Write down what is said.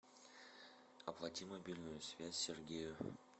оплати мобильную связь сергею